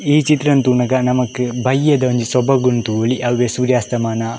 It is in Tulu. ಈ ಚಿತ್ರನ್ ತೂನಗ ನಕಮ್ ಬಯ್ಯದ ಒಂಜಿ ಸೊಬಗುನ್ ತುವೊಲಿ ಅವ್ವೆ ಸೂರ್ಯಾಸ್ತಮನಾನ.